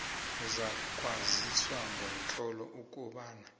uzakwaziswa ngomtlolo ukobana